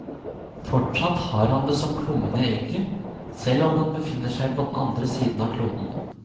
Fortsatt har han det som plommen i egget, selv om han befinner seg på den andre siden av kloden.